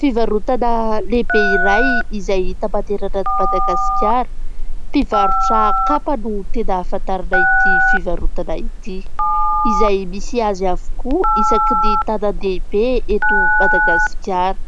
Fivarotana lehibe iray izay hita manerana an'i Madagasikara. Mpivarotra kapa no tena afantarana ity fivarotana ity. Izay misy azy avokoa isaky ny tanan-dehibe eto Madagasikara.